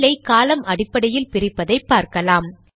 file ஐ காலம் அடிப்படையில் பிரிப்பதை பார்க்கலாம்